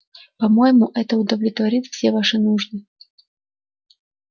по-моему это удовлетворит все ваши нужды